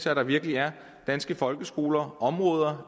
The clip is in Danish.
at der virkelig er danske folkeskoler områder